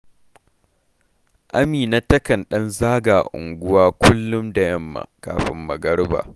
Amina takan ɗan zaga unguwa kullum da yamma kafin magariba